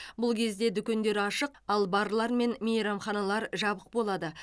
бұл кезде дүкендер ашық ал барлар мен мейрамханалар жабық болады